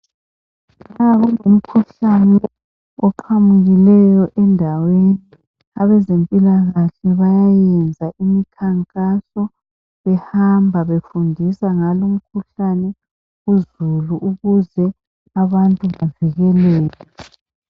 Nxa kulomkhuhlane ovelileyo endaweni abezempilakahle bayayenza imikhankaso behamba befundisa ngalumkhuhlane uzulu ukuze abantu bevikeleke.